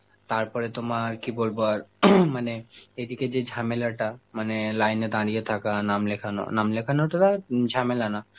তারপরে তোমার কি বলবো আর মানে এইদিকে যে ঝামেলাটা মানে line এ দাঁড়িয়ে থাকা, নাম লেখানো, নাম লেখানোটা তাও উম ঝামেলা না,